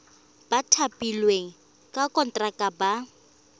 ba thapilweng ka konteraka ba